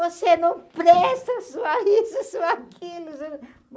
Você não presta, sua isso, sua aquilo.